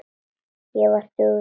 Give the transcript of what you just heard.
Ég var dugleg.